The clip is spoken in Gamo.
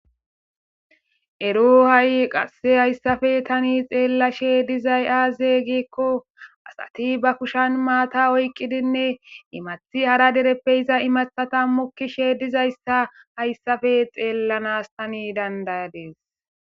ero ha7i qasse hayssafe tani xeella she dizay aazey gikko asati ba kushan maata oyqqidinne imathi hara dereppe iza imathata mukkishe dizayssa hayssafe xeellanas tani dandaya dees